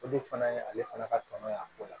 O de fana ye ale fana ka tɔnɔ ye a ko la